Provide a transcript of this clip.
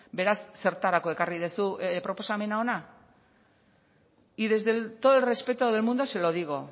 beraz zertarako ekarri duzu proposamena hona y desde todo el respeto del mundo se lo digo